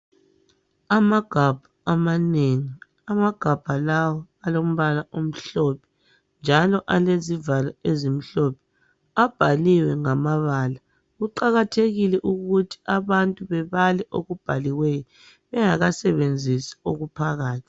Amagabha amanengi, amagabha lawa alombala omhlophe njalo alezivalo ezimhlophe, abhaliwe ngamabala. Kuqakathekile ukuthi abantu bebale okubhaliweyo bengakasebenzisi okuphakathi.